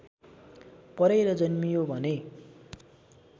परेर जन्मियो भने